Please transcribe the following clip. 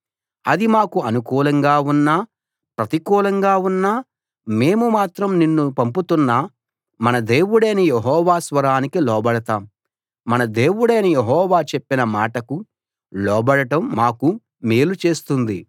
అది మాకు అనుకూలంగా ఉన్నా ప్రతికూలంగా ఉన్నా మేము మాత్రం నిన్ను పంపుతున్న మన దేవుడైన యెహోవా స్వరానికి లోబడతాం మన దేవుడైన యెహోవా చెప్పిన మాటకు లోబడటం మాకు మేలు చేస్తుంది